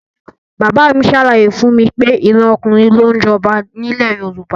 Bàbá mi ṣàlàyé fún mi pé ìran ọkùnrin ló ń jọba ní ilẹ̀ Yorùbá